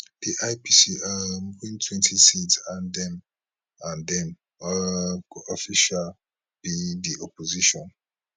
di ipc um wintwentyseats and dem and dem um go official be di opposition